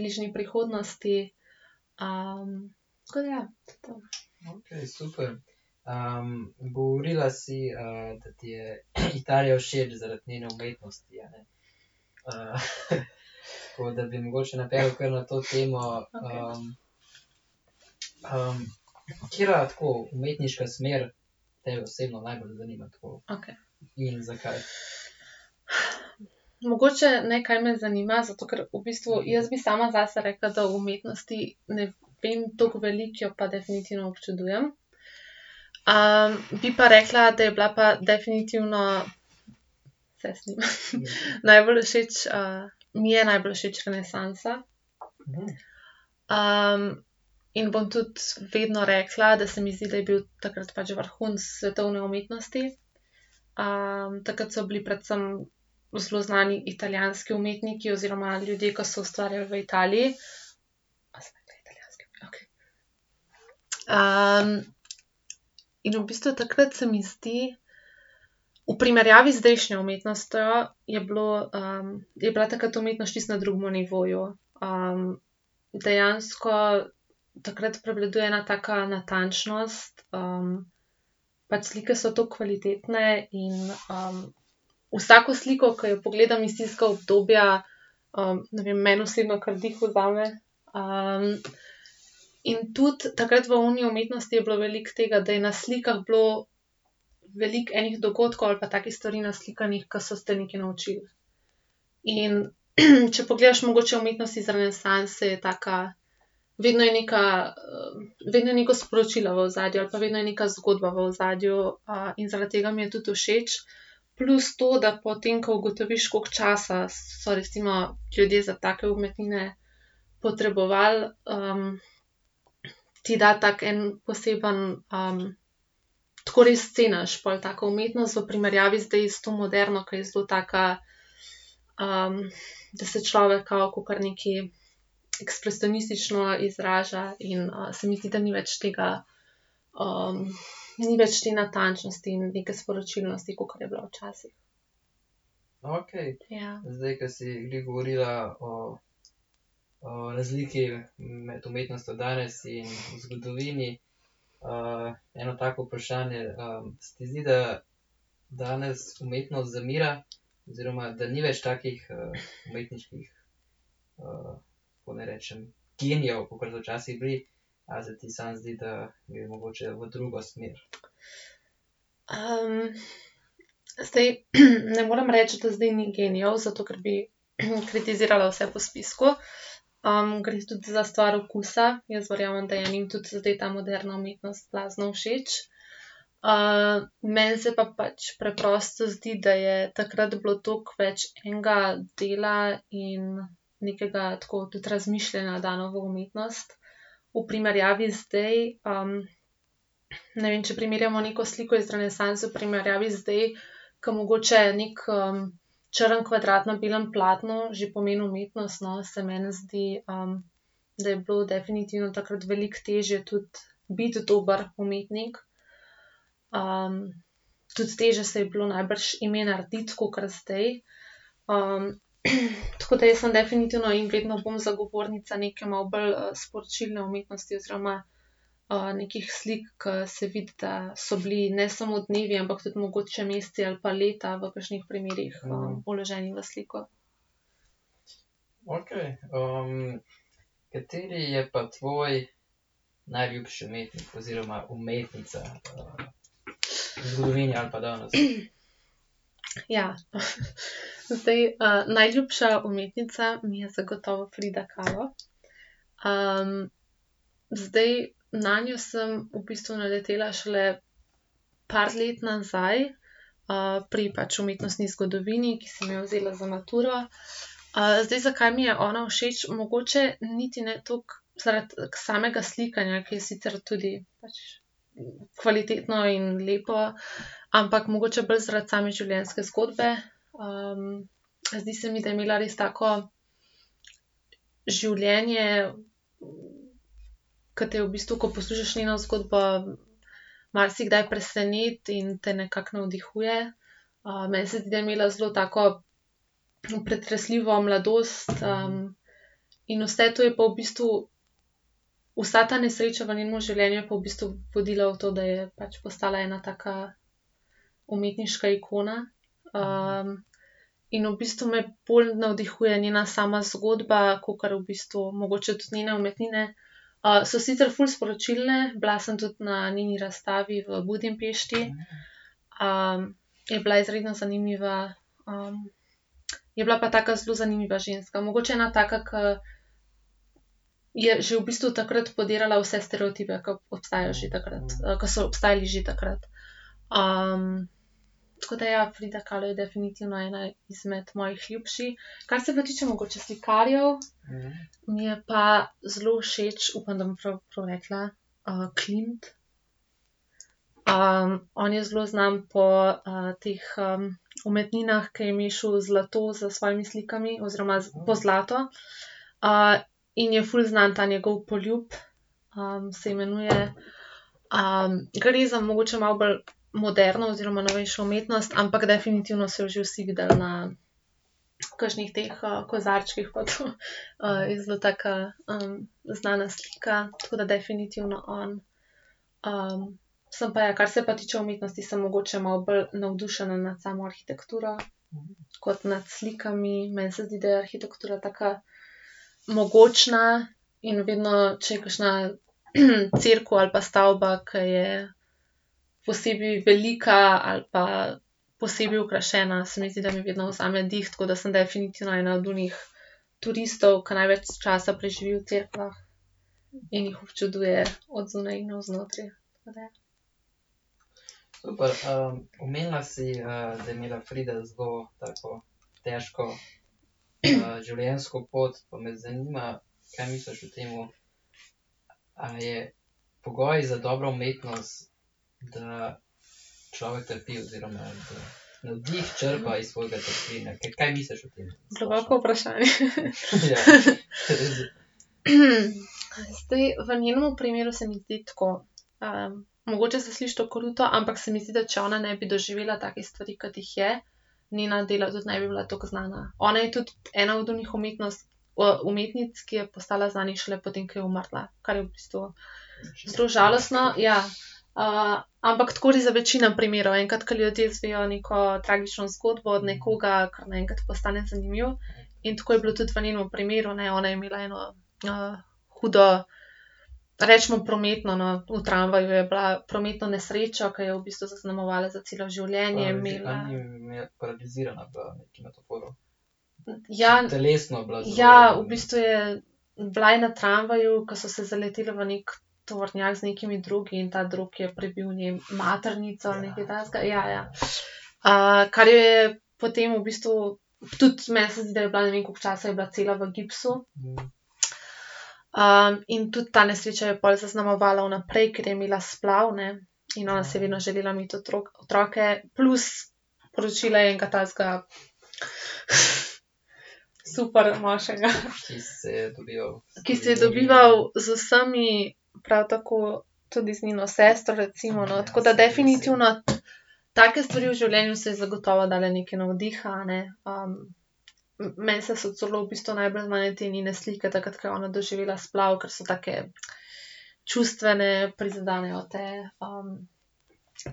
bližnji prihodnosti. tako da ja. To je to. Okej. Okej. Mogoče ne, kaj me zanima, zato ker v bistvu jaz bi sama zase rekla, da o umetnosti ne vem toliko veliko, jo pa definitivno občudujem. bi pa rekla, da je bila pa definitivno, se snema, najbolj všeč, mi je najbolj všeč renesansa. in bom tudi vedno rekla, da se mi zdi, da je bil takrat pač vrhunec svetovne umetnosti. takrat so bili predvsem zelo znani italijanski umetniki oziroma ljudje, ke so ustvarjali v Italiji. A sem rekla italijanski? Okej. in v bistvu takrat, se mi zdi, v primerjavi z zdajšnjo umetnostjo, je bilo, je bila takrat umetnost čisto na drugem nivoju. dejansko takrat prevladuje ena taka natančnost, pač slike so tako kvalitetne in, vsako sliko, ke jo pogledam iz tistega obdobja, ne vem, meni osebno kar dih vzame. in tudi takrat v oni umetnosti je bilo veliko tega, da je na slikah bilo veliko enih dogodkov ali pa takih stvari naslikanih, ke so te nekaj naučili. In če pogledaš mogoče umetnost iz renesanse, je taka, vedno je neka, vedno je neko sporočilo v ozadju, ali pa vedno je neka zgodba v ozadju. in zaradi tega mi je tudi všeč. Plus to, da potem ko ugotoviš, koliko časa so recimo ljudje za take umetnine potrebovali, ti da tako en poseben, tako res ceniš pol tako umetnost v primerjavi zdaj s to moderno, ker je zelo taka, da se človek kao kakor nekaj ekspresionistično izraža in, se mi zdi, da ni več tega, ni več te natančnosti in neke sporočilnosti, kakor je bila včasih. Ja. zdaj, ne morem reči, da zdaj ni genijev, zato ker bi, kritizirala vse po spisku. gre tudi za stvar okusa. Jaz verjamem, da je enim tudi zdaj ta moderna umetnost blazno všeč. meni se pa pač preprosto zdi, da je takrat bilo toliko več enega dela in nekega, tako, tudi razmišljanja dano v umetnost v primerjavi z zdaj. ne vem, če primerjamo neko sliko iz renesanse v primerjavi z zdaj, ke mogoče neki, črn kvadrat na belem platnu že pomeni umetnost, no, se meni zdi, da je bilo definitivno takrat veliko težje tudi biti dober umetnik. tudi težje si je bilo najbrž ime narediti kakor zdaj. tako da jaz sem definitivno in vedno bom zagovornica neke malo bolj, sporočilne oblike umetnosti oziroma, nekih slik, ke se vidi, da so bili ne samo dnevi, ampak tudi mogoče meseci ali pa leta v kakšnih primerih, vloženi v sliko. Ja. Zdaj, najljubša umetnica mi je zagotovo Frida Kahlo. zdaj, nanjo sem v bistvu naletela šele par let nazaj, pri pač umetnostni zgodovini, ki sem jo vzela za maturo. zdaj, zakaj mi je ona všeč? Mogoče niti ne toliko zaradi samega slikanja, ke je sicer tudi pač kvalitetno in lepo, ampak mogoče bolj zaradi same življenjske zgodbe. zdi se mi, da je imela res tako življenje, ke te v bistvu, ko poslušaš njeno zgodbo, marsikdaj preseneti in te nekako navdihuje. meni se zdi, da je imela zelo tako, pretresljivo mladost. in vse to je pa v bistvu, vsa ta nesreča v njenem življenju je pa v bistvu vodila v to, da je pač postala ena taka umetniška ikona. in v bistvu me bolj navdihuje njena sama zgodba, kakor v bistvu mogoče tudi njene umetnine. so sicer ful sporočilne, bila sem tudi na njeni razstavi v Budimpešti, je bila izredno zanimiva. je bila pa taka zelo zanimiva ženska. Mogoče ena taka, ke je že v bistvu takrat podirala vse stereotipe, k obstajajo že takrat, ko so obstajali že takrat. tako da ja, Frida Kahlo je definitivno ena izmed mojih ljubših. Kar se pa tiče mogoče slikarjev, mi je pa zelo všeč, upam, da bom prav, prav rekla, Klimt. on je zelo znan po, teh, umetninah, ke je mešal zlato s svojimi slikami oziroma s pozlato. in je ful znan ta njegov Poljub, se imenuje. gre za mogoče malo bolj moderno oziroma novejšo umetnost, ampak definitivno so jo že vsi videli na kakšnih teh, kozarčkih pa to. je zelo taka, znana slika, tako da definitivno on. sem pa ja, kar se tiče umetnosti, sem mogoče malo bolj navdušena nad samo arhitekturo kot nad slikami. Meni se zdi, da je arhitektura taka, mogočna in vedno, če je kakšna, cerkev ali pa stavba, ke je posebej velika ali pa posebej okrašena, se mi zdi, da mi vedno vzame dih, tako da sem definitivno ena od onih turistov, ke največ časa preživi v cerkvah in jih občuduje od zunaj in od znotraj. Tako da ja. Globoko vprašanje. Zdaj, v njenem primeru se mi zdi tako. mogoče se sliši to kruto, ampak se mi zdi, da če ona ne bi doživela takih stvari, kot jih je, njena dela tudi ne bi bila toliko znana. Ona je tudi ena od onih umetnic, ke je postala znana šele po tem, ko je umrla. Kar je v bistvu zelo žalostno, ja. ampak tako večino primerov. Enkrat, ke ljudje izvejo neko tragično zgodbo od nekoga, kar naenkrat postane zanimiv. In tako je bilo tudi v njenem primeru, ne. Ona je imela eno hudo, recimo prometno, no, v tramvaju je bila, prometno nesrečo, ki jo je v bistvu zaznamovala za celo življenje, imela ... Ja. Ja. V bistvu je, bila je na tramvaju, ki so se zaletel v neki tovornjak z nekimi dragi in ta drog je prebil njej maternico ali nekaj takega. Ja, ja. kar jo je potem v bistvu, tudi, meni se zdi, da je bila, ne vem, koliko časa je bila cela v gipsu. in tudi ta nesreča jo je pol zaznamovala vnaprej, ker je imela splav, ne, in ona si je vedno želela imeti otroke, plus poročila je enega takega super moškega, ki se je dobival z vsemi, prav tako tudi z njeno sestro recimo, no. Tako da definitivno take stvari v življenju so ji zagotovo dale nekaj navdiha, a ne. meni se so celo v bistvu najbolj znane te njene slike takrat, ko je ona doživela splav, ker so take čustvene, prizadenejo te.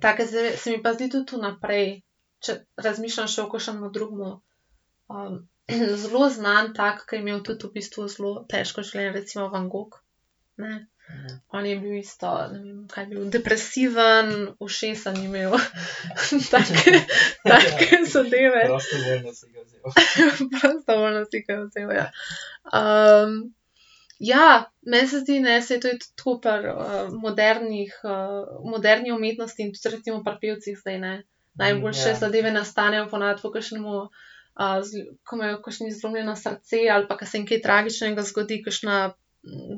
take zadeve se mi pa zdi tudi vnaprej, če razmišljaš še o kakšnem drugem. zelo znan tak, ke je imel tudi v bistvu zelo težko življenje, je recimo Van Gogh. Ne. On je bil isto, ne vem, kaj je bil, depresiven, ušesa ni imel. Take, take zadeve. Prostovoljno si ga je vzel, ja. ja, meni se zdi, ne, saj to je tudi tako pri, modernih, moderni umetnosti in tudi recimo pri pevcih zdaj, ne. Najboljše zadeve nastanejo po navadi po kakšnem, ko imajo kakšni zlomljeno srce ali pa ke se jim kaj tragičnega zgodi, kakšna,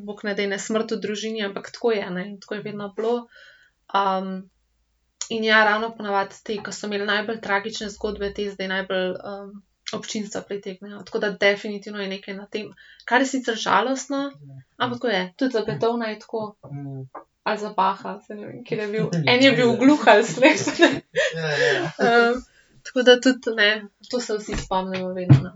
bog ne daj, ne, smrt v družini, ampak tako je, ne, tako je vedno bilo. in ja, ravno po navadi, potem, ke so imeli najbolj tragične zgodbe, te zdaj najbolj, občinstva pritegnejo. Tako da definitivno je nekaj na tem. Kar je sicer žalostno, ampak tako je. Tudi za Beethovna je tako. Ali za Bacha, saj ne vem, ker je bil. En je bil gluh ali slep. tako da tudi meni, to se vsi spomnimo vedno.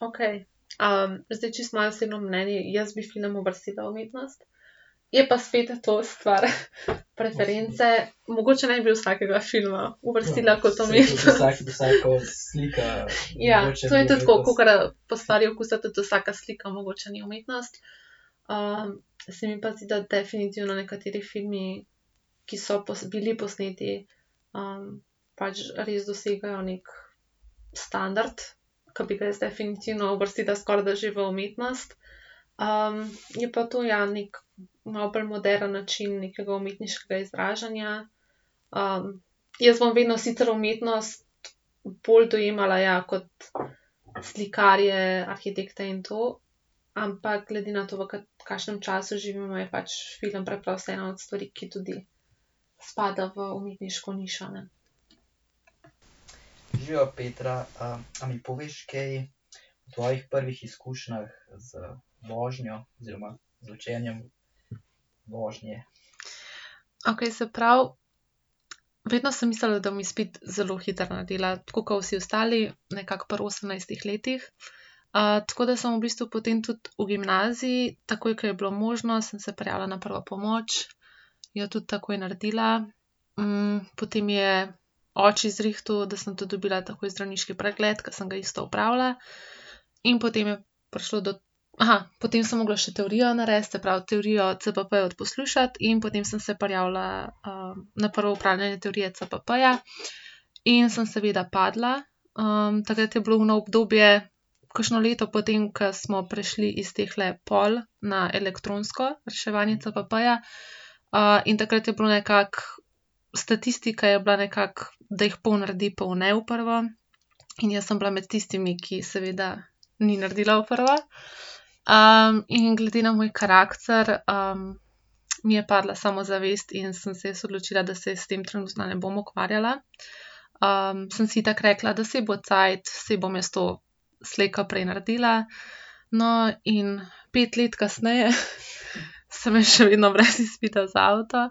Okej. zdaj, čisto moje osebno mnenje. Jaz bi film uvrstila v umetnost. Je pa spet to stvar preference. Mogoče ne bi glih vsakega filma uvrstila kot umetnost. Ja. To je tudi tako, kakor po stvari okusa tudi vsaka slika mogoče ni umetnost. se mi pa zdi, da definitivno nekateri filmi, ki so bili posneti, pač res dosegajo neki standard, ke bi ga jaz definitivno uvrstila skorajda že v umetnost. je pa to, ja, neki malo bolj moderen način nekega umetniškega izražanja. jaz bom vedno sicer umetnost bolj dojemala, ja, kot slikarje, arhitekte in to, ampak glede na to, v kakšnem času živimo, je pač film preprosto ena od stvari, ki tudi spada v umetniško nišo, ne. Okej. Se pravi, vedno sem mislila, da bom izpit zelo hitro naredila, tako kot vsi ostali, nekako pri osemnajstih letih. tako da sem v bistvu potem tudi v gimnaziji, takoj ko je bilo možno, sem se prijavila na prvo pomoč, jo tudi takoj naredila. potem je oči zrihtal, da sem tudi dobila takoj zdravniški pregled, ki sem ga isto opravila. In potem je prišlo do, potem sem mogla še teorijo narediti, se pravi teorijo CPP-ja odposlušati in potem sem se prijavila, na prvo opravljanje teorije CPP-ja. In sem seveda padla. takrat je bilo ono obdobje, kakšno leto po tem, ko smo prišli iz tehle pol na elektronsko reševanje CPP-ja. in takrat je bilo nekako, statistika je bila nekako, da jih pol naredi, pol ne v prvo. In jaz sem bila med tistimi, ki seveda ni naredila v prvo. in glede na moj karakter, mi je padla samozavest in sem se jaz odločila, da se s tem trenutno ne bom ukvarjala. sem si itak rekla, da saj bo cajt, saj bom jaz to slej ko prej naredila. No, in pet let kasneje samo jaz še vedno brez izpita za avto.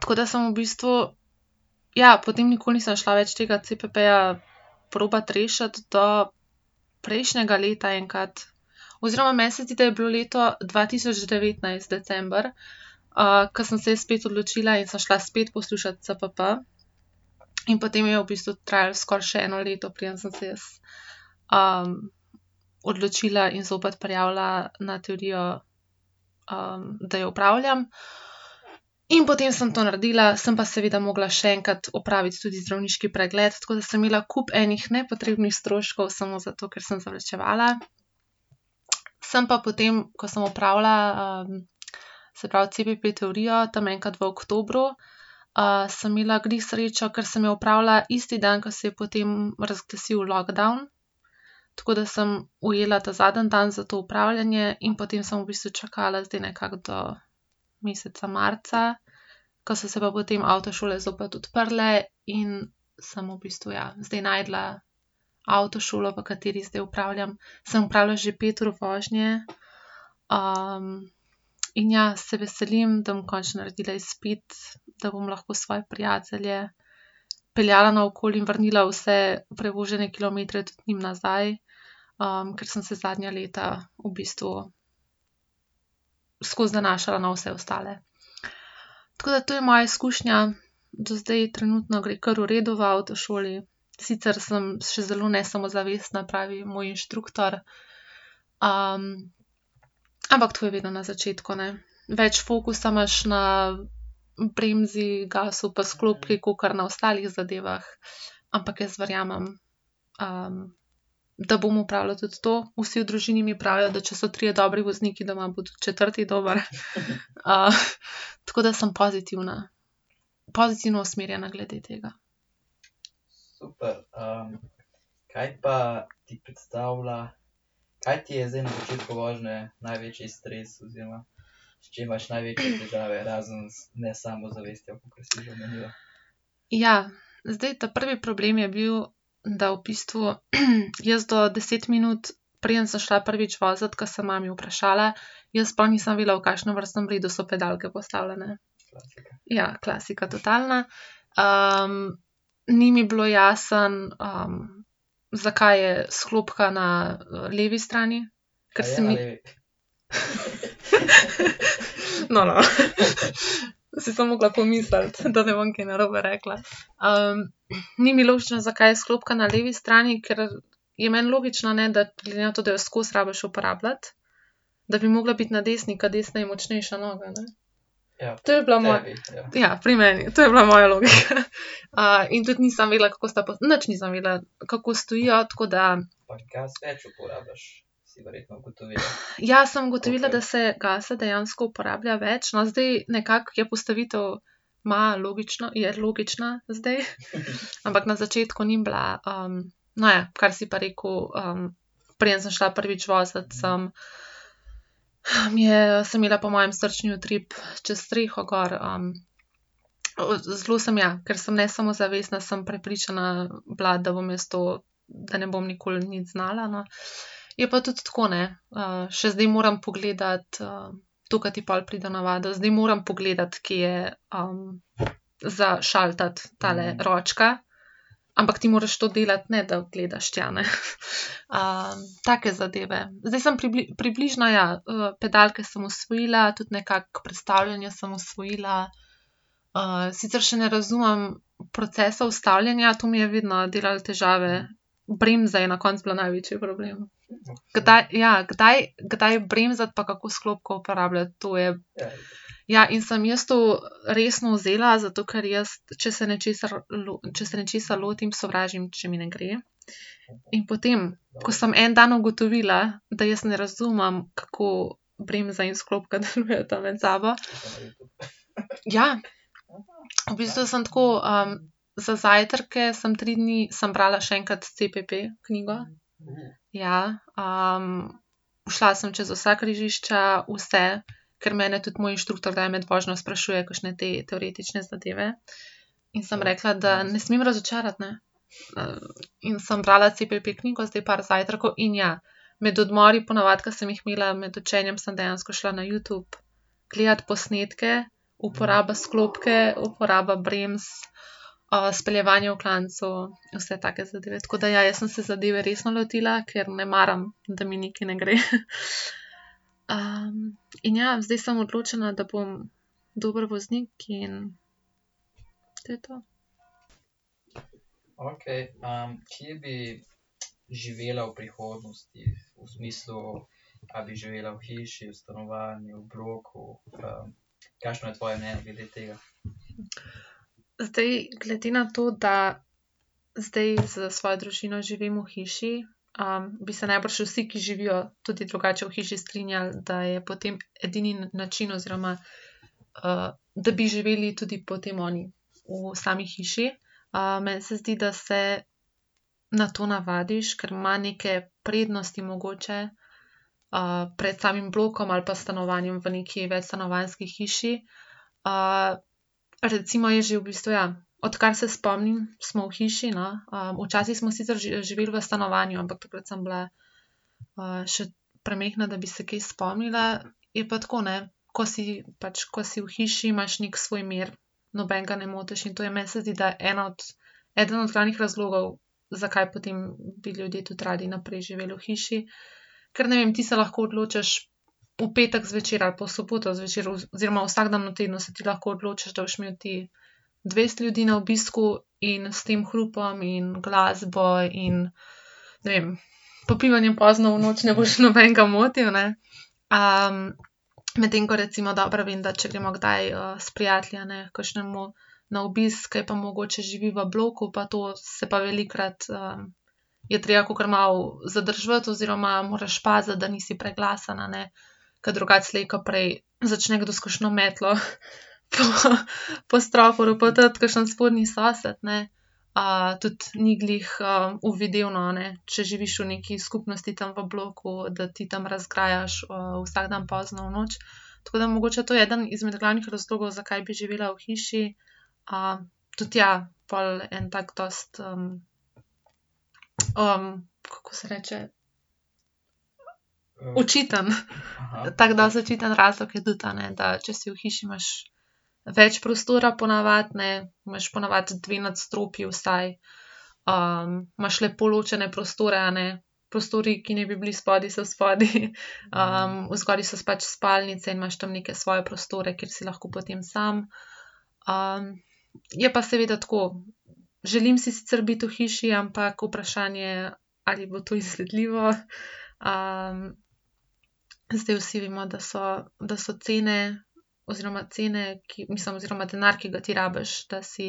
tako da sem v bistvu, ja, potem nikoli nisem šla več tega CPP-ja probati rešiti do prejšnjega leta enkrat, oziroma meni se zdi, da je bilo leto dva tisoč devetnajst december, ke sem se jaz spet odločila in sem šla spet poslušati CPP. In potem je bistvu trajalo skoraj še eno leto, preden sem se jaz, odločila in zopet prijavila na teorijo, da jo opravljam. In potem sem to naredila, sem pa seveda mogla še enkrat opraviti tudi zdravniški pregled, tako da sem imela kup enih nepotrebnih stroškov, samo zato, ker sem zavlačevala. Sem pa potem, ko sem opravila, se pravi, CPP-teorijo, tam enkrat v oktobru, sem imela glih srečo, ker sem jo opravila isti dan, ko se je potem razglasil lockdown. Tako da sem ujela ta zadnji dan za to opravljanje in potem sem v bistvu čakala zdaj nekako do meseca marca, ko so se pa potem avtošole zopet odprle in sem v bistvu, ja, zdaj našla avtošolo, v kateri zdaj opravljam, sem opravila že pet ur vožnje, in ja, se veselim, da bom končno naredila izpit, da bom lahko svoje prijatelje peljala naokoli in vrnila vse prevožene kilometre tudi njim nazaj, ker sem se zadnja leta v bistvu skozi zanašala na vse ostale. Tako da to je moja izkušnja, do zdaj trenutno gre kar v redu v avtošoli. Sicer sem še zelo nesamozavestna, pravi moj inštruktor, ampak tako je vedno na začetku, ne. Več fokusa imaš na bremzi, gasu pa sklopki, kakor na ostalih zadevah. Ampak jaz verjamem, da bom opravila tudi to. Vsi v družini mi pravijo, da če so trije dobri vozniki doma, bo tudi četrti dober. tako da sem pozitivna. Pozitivno usmerjena glede tega. Ja. Zdaj, ta prvi problem je bil, da v bistvu, jaz do deset minut, preden sem šla prvič vozit, ke sem mami vprašala, jaz sploh nisem vedela, v kakšnem vrstnem redu so pedalke postavljene. Ja, klasika totalna. ni mi bilo jasno, zakaj je sklopka na levi strani, ker se mi ... No, no. Saj sem mogla pomisliti, da ne bom kaj narobe rekla. ni mi logično, zakaj je sklopka na levi strani, ker je meni logično, ne, da glede na to, da jo skozi rabiš uporabljati, da bi mogla biti na desni, ke desna je močnejša noga, ne. To je bila ... Ja, pri meni. To je bila moja logika. in tudi nisem vedela, kako sta nič nisem vedela, kako stojijo, tako da ... Ja, sem ugotovila, da se gasa dejansko uporablja več, no. Zdaj nekako je postavitev malo logična, je logična zdaj. Ampak na začetku ni bila, No ja, kar si pa rekel, preden sem šla prvič vozit, sem, mi je, sem imela po moje srčni utrip čez streho gor. zelo sem, ja, ker sem nesamozavestna, sem prepričana bila, da bom jaz to, da ne bom nikoli nič znala, no. Je pa tudi tako, ne. še zdaj moram pogledati, to, ke ti pol pride v navado, zdaj moram pogledati, kje je, za šaltati tale ročka, ampak ti moraš to delati, ne da gledaš tja, ne. take zadeve. Zdaj sem približno ja, pedalke sem osvojila, tudi nekako prestavljanje sem osvojila. sicer še ne razumem procesa ustavljanja, to mi je vedno delalo težave. Bremza je na koncu bila največji problem. Kdaj, ja, kdaj, kdaj bremzati pa kako sklopko uporabljati. To je ... Ja, in sem jaz to resno vzela, zato ker jaz, če se nečesa če se nečesa lotim, sovražim, če mi ne gre, in potem, ko sem en dan ugotovila, da jaz ne razumem, kako bremza in sklopka delujta med sabo ... Ja, v bistvu samo tako, za zajtrke sem tri dni, sem brala še enkrat CPP-knjigo. Ja. šla sem čez vsa križišča, vse. Ker mene tudi moj inštruktor kdaj med vožnjo sprašuje kakšne te, teoretične zadeve. In sem rekla, da ne smem razočarati, ne. in sem brala CPP-knjigo zdaj par zajtrkov in ja, med odmori po navadi, ke sem jih imela med učenjem, sem dejansko šla na Youtube gledat posnetke uporaba sklopke, uporaba bremz, speljevanje v klancu, vse take zadeve. Tako da ja, jaz sem se zadeve resno lotila, ker ne maram, da mi nekaj ne gre. in ja, zdaj sem odločena, da bom dober voznik in to je to. Zdaj, glede na to, da zdaj s svojo družino živim v hiši, bi se najbrž vsi, ki živijo tudi drugače v hiši, strinjali, da je potem edini način oziroma, da bi živeli tudi potem oni v sami hiši. meni se zdi, da se na to navadiš, ker ima neke prednosti mogoče, pred samim blokom ali pa stanovanjem v neki večstanovanjski hiši. recimo jaz že v bistvu ja, odkar se spomnim, smo v hiši, no. včasih smo sicer živel v stanovanju, ampak takrat sem bila, še premajhna, da bi se kaj spomnila. Je pa tako, ne, ko si, pač ko si v hiši, imaš neki svoj mir. Nobenega ne motiš. In to je meni se zdi, da ena od, eden od glavnih razlogov, zakaj potem bi ljudje tudi radi naprej živeli v hiši. Ker ne vem, ti se lahko odločiš v petek zvečer ali pa v soboto zvečer oziroma vsak dan v tednu se ti lahko odločiš, da boš imel ti dvajset ljudi na obisku, in s tem hrupom in glasbo in, ne vem, popivanjem pozno v noč ne boš nobenega motil, ne. medtem ko recimo dobro vem, da če gremo kdaj, s prijatelji, a ne, h kakšnemu na obisk, ke pa mogoče živi v bloku, pa to, se pa velikokrat, je treba kakor malo zadrževati oziroma moraš paziti, da nisi preglasen, a ne. Ker drugače slej ko prej začne kdo s kakšno metlo po, po stropu ropotati, kakšen spodnji sosed, ne. tudi ni glih, uvidevno, a ne, če živiš v neki skupnosti tam v bloku, da ti tam razgrajaš, vsak dan pozno v noč. Tako da mogoče je to eden izmed glavnih razlogov, zakaj bi živela v hiši. tudi ja, pol en tak dosti, kako se reče? Očiten. Tako dosti očiten razlog je tudi, a ne, da če si v hiši, imaš več prostora po navadi, ne, imaš po navadi dve nadstropji vsaj, imaš lepo ločene prostore, a ne. Prostori, ki naj bi bili spodaj, so spodaj, odzgoraj so pač spalnice in imaš tam neke svoje prostore, kjer si lahko potem samo. je pa seveda tako. Želim si sicer biti v hiši, ampak vprašanje, ali bo to izvedljivo. zdaj, vsi vemo, da so, da so cene oziroma cene, ki, mislim, oziroma denar, ki ga ti rabiš, da si